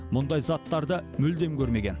мұндай заттарды мүлдем көрмеген